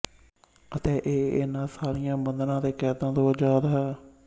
ਅਤੇ ਇਹ ਇਹਨਾਂ ਸਾਰਿਆਂ ਬੰਧਨਾਂ ਤੇ ਕੈਦਾਂ ਤੋਂ ਆਜਾਦ ਹੈ